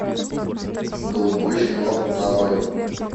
голубой щенок нарой